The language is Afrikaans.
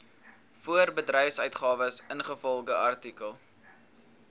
voorbedryfsuitgawes ingevolge artikel